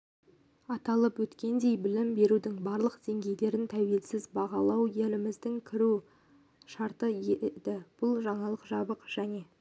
аталып өткендей білім берудің барлық деңгейлерін тәуелсіз бағалау еліміздің кіру шарты еді бұл жаңалық жабық және